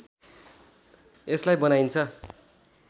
यसलाई बनाइन्छ